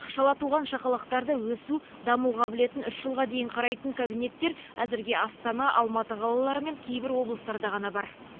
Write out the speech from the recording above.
шала туған шақалақтарды өсу даму қабілетін үш жылға дейін қарайтын кабинеттер әзірге астана алматы қалалары мен кейбір облыстарда ғана бар